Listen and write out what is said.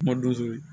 Madonso ye